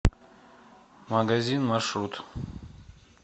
магазин маршрут